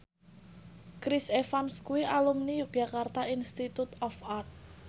Chris Evans kuwi alumni Yogyakarta Institute of Art